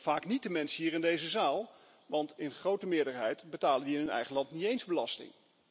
Vaak niet de mensen hier in deze zaal, want in grote meerderheid betalen die in hun eigen land niet eens belasting.